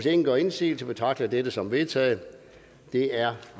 ingen gør indsigelse betragter jeg det som vedtaget det er